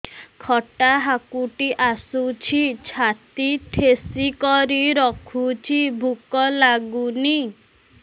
ଖଟା ହାକୁଟି ଆସୁଛି ଛାତି ଠେସିକରି ରଖୁଛି ଭୁକ ଲାଗୁନି